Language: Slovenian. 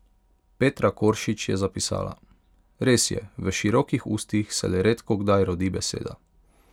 Petra Koršič je zapisala: "Res je, v širokih ustih se le redkokdaj rodi beseda.